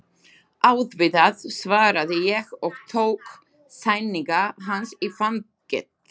Auðvitað, svaraði ég og tók sængina hans í fangið.